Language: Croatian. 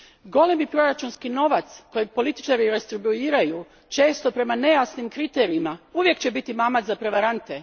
Golemi proračunski novac kojeg političari redistribuiraju često prema nejasnim kriterijima uvijek će biti mamac za prevarante.